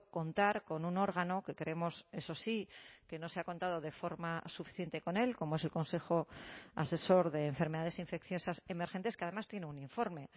contar con un órgano que creemos eso sí que no se ha contado de forma suficiente con él como es el consejo asesor de enfermedades infecciosas emergentes que además tiene un informe